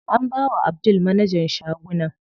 An bawa Abdul managan shagunan.